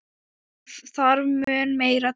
Það þarf mun meira til.